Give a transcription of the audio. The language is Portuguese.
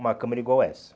Uma câmera igual essa.